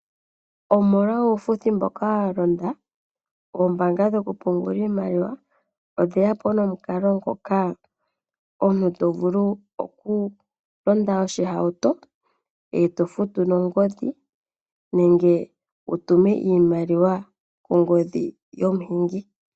Omolwa uufuthi mboka walonda oombaanga dhokupungula iimaliwa odheyapo nomukalo ngoka omuntu to vulu okulonda oshihauto eto futu nongodhi nenge wutume iimaliwa kongodhi yomuhingi.